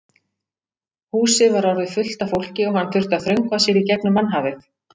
Húsið var orðið fullt af fólki og hann þurfti að þröngva sér í gegnum mannhafið.